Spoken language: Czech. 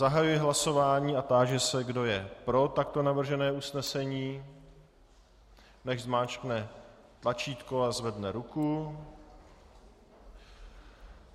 Zahajuji hlasování a táži se, kdo je pro takto navržené usnesení, nechť zmáčkne tlačítko a zvedne ruku.